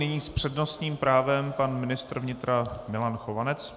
Nyní s přednostním právem pan ministr vnitra Milan Chovanec.